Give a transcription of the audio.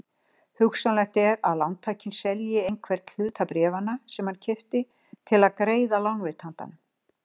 Hugsanlegt er að lántakinn selji einhvern hluta bréfanna sem hann keypti til að greiða lánveitandanum.